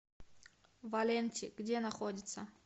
валенти где находится